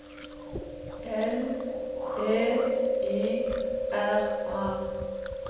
L E I R A